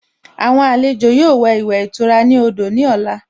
Àwọn àlejò yóò wẹ̀ ìwẹ̀ ìtura ní odò ní ọ̀la